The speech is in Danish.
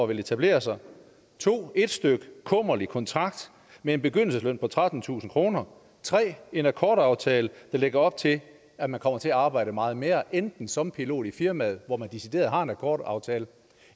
ville etablere sig 2 et styk kummerlig kontrakt med en begyndelsesløn på trettentusind kroner og 3 en akkordaftale der lægger op til at man kommer til arbejde meget mere enten som pilot i firmaet hvor man decideret har en akkordaftale